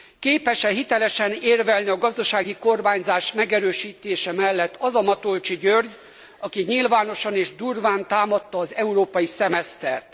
Képes e hitelesen érvelni a gazdasági kormányzás megerősítése mellett az a Matolcsy György, aki nyilvánosan és durván támadta az európai szemesztert?